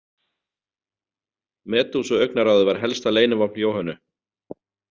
Medúsuaugnaráðið var helsta leynivopn Jóhönnu.